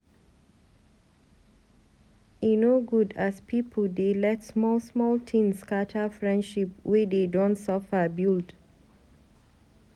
E no good as pipu dey let small small tin scatter friendship wey dey don suffer build.